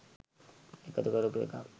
එකතු කරපු එකක්.